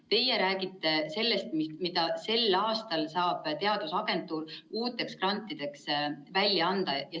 Teie räägite sellest, mida sel aastal saab teadusagentuur uuteks grantideks välja anda.